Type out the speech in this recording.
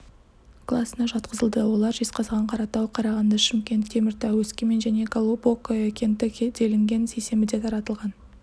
класына жатқызылды олар жезқазған қаратау қарағанды шымкент теміртау өскемен және глубокое кенті делінген сейсенбіде таратылған